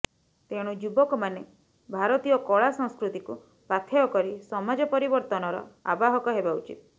ତେଣୁ ଯୁବକମାନେ ଭାରତୀୟ କଳା ସଂସ୍କୃତିକୁ ପାଥେୟ କରି ସମାଜ ପରିବର୍ତନର ଆବାହକ ହେବା ଉଚିତ୍